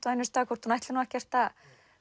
á einum stað hvort hún ætli ekkert að